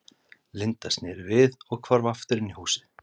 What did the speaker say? Linda, sneri við og hvarf aftur inn í húsið.